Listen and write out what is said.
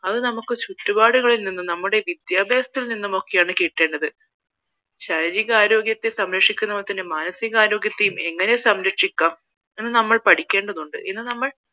അത് നമുക്ക് നമ്മുടെ ചുറ്റുപാടിൽ നിlന്നും നമ്മുടെ വിദ്യാഭ്യാസത്തിൽ നിന്നാണ് കിട്ടേണ്ടത് ശാരീരിക ആരോഗ്യത്തെ സംരക്ഷിക്കുന്നത് പോലെ തന്നെ മാനസികാരോഗ്യത്തെയും എങ്ങനെ സംരക്ഷിക്കാം എന്ന് നമ്മൾ പഠിക്കേണ്ടതുണ്ട് ഇന്നു നമ്മൾ